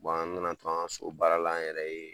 an nana to an ka so baara an yɛrɛ ye,